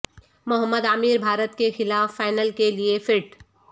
محمد عامر بھارت کے خلاف فائنل کے لیے فٹ